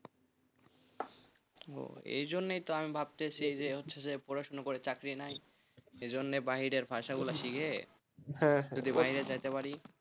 এজন্যই তো আমি ভাবতেছি হচ্ছে যে পড়াশোনা করে চাকরি নাই এই জন্য বাড়ি বাইরের ভাষা গুলো শিখে যদি বাইরে যেতে পার,